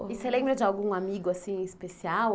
E você lembra de algum amigo assim especial?